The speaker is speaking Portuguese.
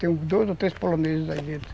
Tem uns dois ou três poloneses aí dentro.